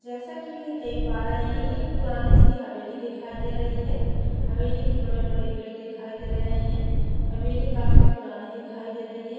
जैसा की देख प् रहे है एक पुरनी सी हवेली दिखाई दे रही है हवेली के बड़े-बड़े गेट दिखाई दे रहे है हवेली काफी पुरानी दिखाई दे रही है।